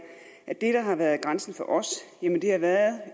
at det der har været grænsen for os